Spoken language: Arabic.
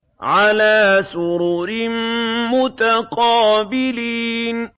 عَلَىٰ سُرُرٍ مُّتَقَابِلِينَ